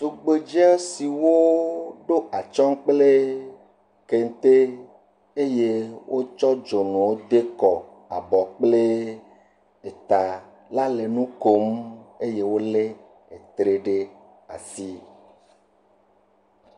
Tugbedze siwo ɖo atsyɔ̃ kple kente eye wotsɔ dzonuwo de kɔ abɔ kple eta la le nu kom eye wolé tre ɖe asi.